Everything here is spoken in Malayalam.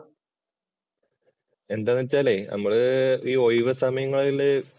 എന്താണ് വെച്ചാലേ നമ്മള് ഈ ഒഴിവു സമയങ്ങളിലെ